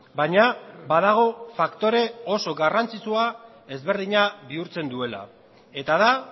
baina badago faktore oso garrantzitsua ezberdina bihurtzen duela eta da